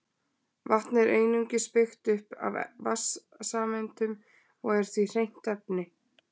Vatn er einungis byggt upp af vatnssameindum og er því hreint efni.